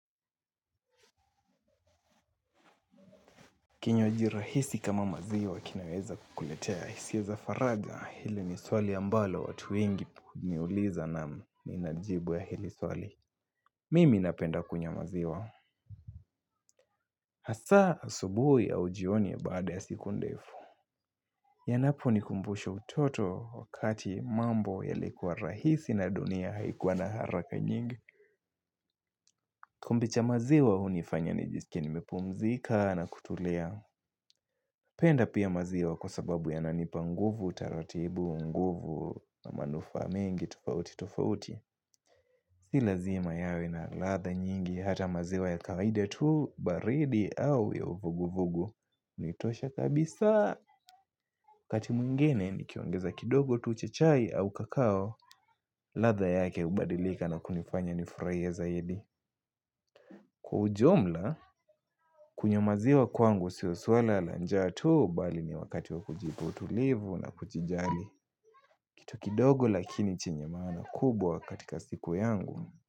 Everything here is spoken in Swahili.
Kinywaji rahisi kama maziwa kinaweza kukuletea hisia ya zafaraja hili ni swali ambalo watu wengi niuliza na ninajibu ya hili swali. Mimi napenda kunywa maziwa. Hasa asubuhi au jioni ya baada ya siku ndefu. Yanapu ni kumbusha utoto wakati mambo yalikuwa rahisi na dunia haikuwa na haraka nyingi. Kikombe cha maziwa hunifanya nijisikie nimepumzika na kutulia. Penda pia maziwa kwa sababu ya nanipa nguvu, taratibu, nguvu, na manufaa mingi, tofauti, tofauti. Si lazima yawe na ladha nyingi, hata maziwa ya kawaida tu, baridi, au ya uvugu-vugu. Nitosha kabisa, wakati mwingine ni kiongeza kidogo tu chai au kakao, ladha yake hubadilika na kunifanya nifurahie zaidi. Kwa ujumla, kunywa maziwa kwangu sio swala la njaa tu bali ni wakati wa kujipa tulivu na kujijali. Kitu kidogo lakini chenye maana kubwa katika siku yangu.